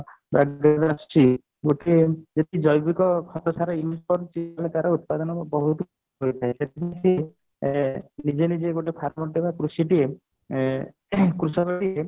ଯେତିକି ଜୈବିକ ଖତ ସାର use କରିଛି ସେଥିରେ ତାର ଉତ୍ପାଦନ ବହୁତ ହୋଇଥାଏ ସେଥିପାଇଁ ସିଏ ଏ ନିଜେ ନିଜେ ଗୋଟେ farmer ଟିଏ ବା କୃଷି ଟିଏ ଏ କୃଷକ ଟିଏ